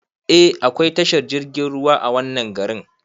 Eh akwai tashar jirgin ruwa a wannan garin